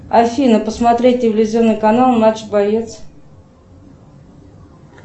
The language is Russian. афина посмотреть телевизионный канал матч боец